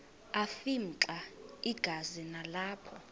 afimxa igazi nalapho